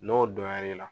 N'o dɔnya l'i la